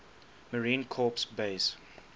marine corps base